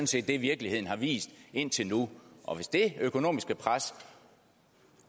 set det virkeligheden har vist indtil nu og hvis det økonomiske pres